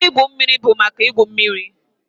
Ebe igwu mmiri bụ maka igwu mmiri